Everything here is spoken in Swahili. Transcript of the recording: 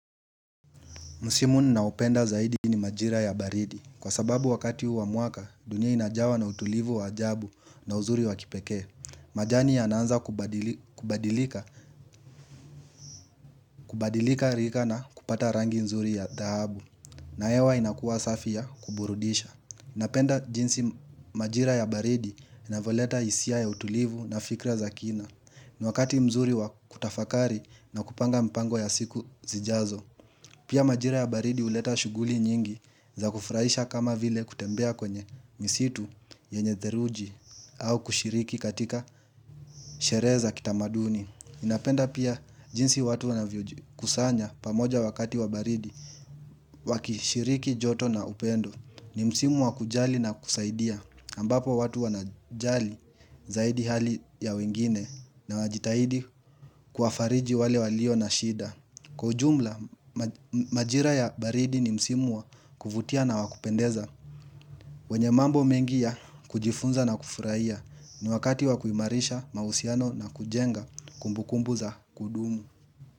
Musimu ni na upenda zaidi ni majira ya baridi. Kwa sababu wakati uwa muaka, dunia inajawa na utulivu wa ajabu na uzuri wa kipeke. Majani ya ananza kubadilika rika na kupata rangi nzuri ya tahabu. Nahewa inakuwa safi ya kuburudisha. Inapenda jinsi majira ya baridi ina voleta hisia ya utulivu na fikra za kina ni wakati mzuri wa kutafakari na kupanga mpango ya siku zijazo. Pia majira ya baridi huleta shuguli nyingi za kufraisha kama vile kutembea kwenye misitu yenye zeruji au kushiriki katika shereza kitamaduni. Inapenda pia jinsi watu wanavyokusanya pamoja wakati wabaridi wakishiriki joto na upendo ni msimu wakujali na kusaidia ambapo watu wanajali zaidi hali ya wengine na wajitahidi kwa fariji wale walio na shida. Kwa ujumla, majira ya baridi ni msimwa kufutia na wakupendeza, wenye mambo mengi ya kujifunza na kufurahia ni wakati wakuimarisha mausiano na kujenga kumbukumbu za kudumu.